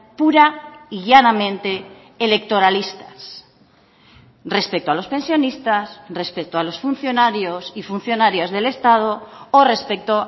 pura y llanamente electoralistas respecto a los pensionistas respecto a los funcionarios y funcionarias del estado o respecto